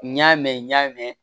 N y'a mɛn n y'a mɛn